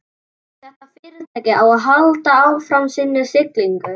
Ef þetta fyrirtæki á að halda áfram sinni siglingu.